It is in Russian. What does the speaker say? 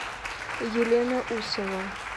елена усова